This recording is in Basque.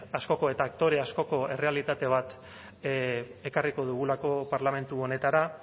askoko eta aktore askoko errealitate bat ekarriko dugulako parlamentu honetara